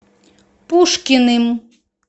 пушкиным